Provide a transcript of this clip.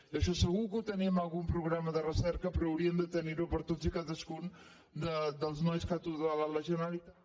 d’això segur que en tenim algun programa de recerca però hauríem de tenir ho per a totes i cadascun dels nois que ha tutelat la generalitat